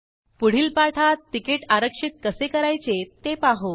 पुढील पाठात तिकीट आरक्षित कसे करायचे ते पाहू